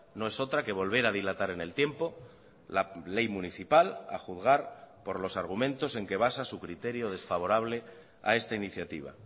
no es otra que volver a dilatar en el tiempo la ley municipal a juzgar por los argumentos en que basa su criterio desfavorable a esta iniciativa